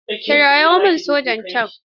Kirawo min sojan can.